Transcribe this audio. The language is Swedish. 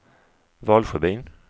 Valsjöbyn